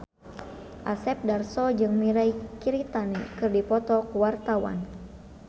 Asep Darso jeung Mirei Kiritani keur dipoto ku wartawan